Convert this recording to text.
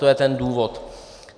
To je ten důvod.